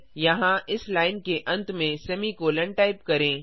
यहाँ इस लाइन के अंत में सेमीकोलों टाइप करें